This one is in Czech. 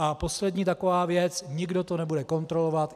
A poslední taková věc - nikdo to nebude kontrolovat.